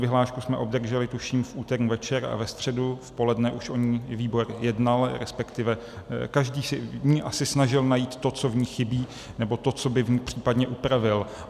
Vyhlášku jsme obdrželi, tuším, v úterý večer a ve středu v poledne už o ní výbor jednal, respektive každý se v ní asi snažil najít to, co v ní chybí, nebo to, co by v ní případně upravil.